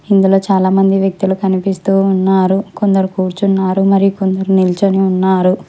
ఇందులో చాలా మంది వ్యక్తులు కనిపిస్తూ ఉన్నారు కొందరు కూర్చున్నారు మరి కొందరు నిల్చొని ఉన్నారు.